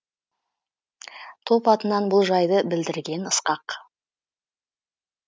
топ атынан бұл жайды білдірген ысқақ